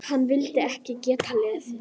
Hana vildi ég geta lesið.